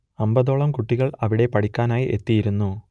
അമ്പതോളം കുട്ടികൾ അവിടെ പഠിക്കാനായി എത്തിയിരുന്നു